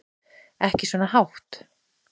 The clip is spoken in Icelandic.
Ekki svona hátt.